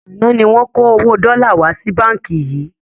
Àná ni wọn kó owó dọ́là wá sí báńkì yìí